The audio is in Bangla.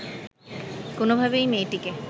কোনোভাবেই মেয়েটিকে